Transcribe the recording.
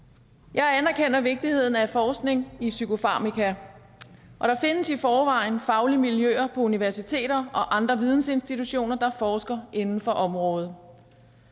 jeg anerkender vigtigheden af forskning i psykofarmaka og der findes i forvejen faglige miljøer på universiteter og andre vidensinstitutioner der forsker inden for området